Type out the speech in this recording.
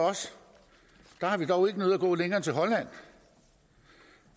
der har vi dog ikke nødig at gå længere end til holland